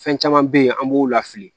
Fɛn caman bɛ yen an b'o lafili